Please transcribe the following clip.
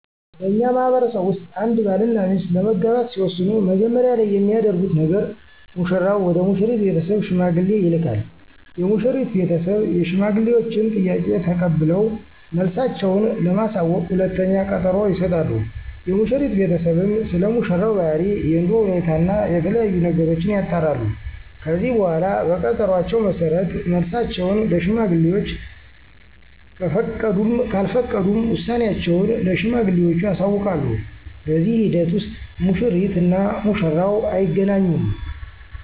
በእኛ ማህበረሰብ ውስጥ አንድ ባል እና ሚስት ለመጋባት ሲወስኑ መጀመሪያ ላይ የሚያደርጉት ነገር ሙሽራው ወደ ሙሽሪት ቤተሰብ ሽማግሌ ይልካል። የሙሽሪት ቤተሰብ የሽማግሌወችን ጥያቄ ተቀብለው መልሳቸው ለማሳወቅ ሁለተኛ ቀጠሮ ይሰጣሉ። የሙሽሪት ቤተሰብም ስለሙሽራው ባህሪ፣ የኑሮ ሁኔታ እና የተለያዬ ነገሮችን ያጣራሉ። ከዚህ በኃላ በቀጠሮአቸው መሠረት መልሳቸውን ለሽማግሌወች ከፈቀዱም ካልፈቀዱም ውሳኔአቸውን ለሽማግሌወቹ ያሳውቃሉ። በዚህ ሂደት ውስጥ ሙሽሪት እና ሙሽራው አይገናኙም።